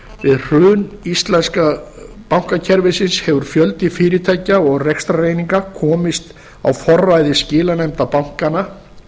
við hrun íslenska bankakerfisins hefur fjöldi fyrirtækja og rekstrareininga komist á forræði skilanefnda bankanna